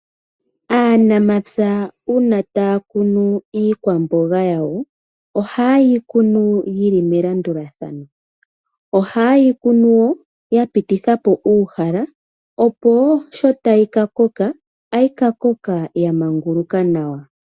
Aanamapya uuna taya kunu iikwamboga yawo. Oha yeyi kunu yili melandulathano . Oha yeyi kunu ya pitithapo uuhala opo sho tayi ka koka ohayi ka koka ya manguluka nawa.